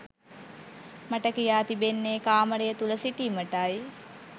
මට කියා තිබෙන්නේ කාමරය තුළ සිටීමටයි.